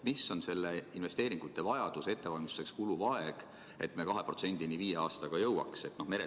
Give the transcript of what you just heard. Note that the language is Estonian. Missugune on investeeringute vajadus ja ettevalmistuseks kuluv aeg, et me viie aastaga jõuaks 2%‑ni?